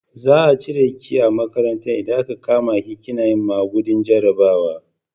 Za a cire ki a makaranta in a ka kama ki kina yin magudin jarabawa